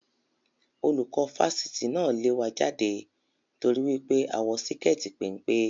Olùkọ́ Fásitì náà lẹ̀ wá jáde t'ori wípé a wọ síkẹẹti pénpé